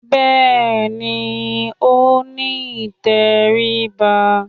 Bẹ́ẹ̀ni, ó ní ìtẹríba